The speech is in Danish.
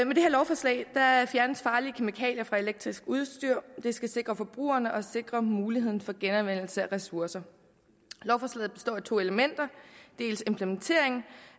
med det her lovforslag fjernes farlige kemikalier fra elektrisk udstyr det skal sikre forbrugerne og sikre muligheden for genanvendelse af ressourcer lovforslaget består af to elementer dels implementering